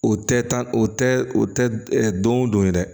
O tɛ tan o tɛ o tɛ don o don dɛ